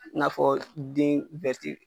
N'a fɔ den